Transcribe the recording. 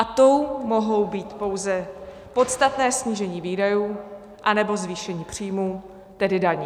A tou mohou být pouze podstatné snížení výdajů, anebo zvýšení příjmů, tedy daní.